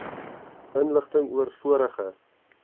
inligting oor vorige